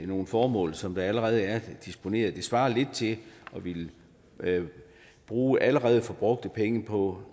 nogle formål som der allerede er disponeret til det svarer lidt til at ville bruge allerede brugte penge på